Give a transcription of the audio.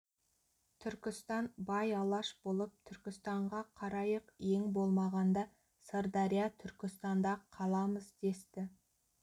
түркістан бай алаш болып түркістанға қарайық ең болмағанда сырдария түркістанда қаламыз десті